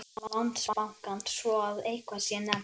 Landsbankans svo að eitthvað sé nefnt.